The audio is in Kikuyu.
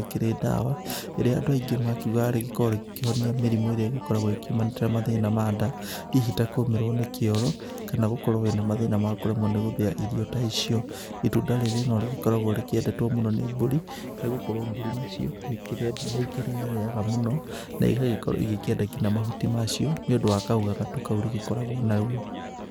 rĩkĩrĩ dawa, ĩrĩa andũ aingĩ makoragwo makiuga rĩkoragwo rĩkĩhonia mĩrimũ ĩrĩa ĩgĩkoragwo ĩkiumanĩte na mathĩna ma nda hihi ta kũmĩrwo nĩ kĩoro kana hihi gũkorwo wĩna mathĩna ma kũremwo nĩ gũthĩa irio ta icio. Itunda rĩrĩ no rĩkoragwo rĩkĩendetwo mũno nĩ mbũri nĩ gũkorwo mbũri nacio nĩ ikĩrĩarĩaga mũno na igakorwo ikĩenda nginya mahuti macio nĩũndũ wa kaũgagatu kao rĩgĩkoragwo narĩo.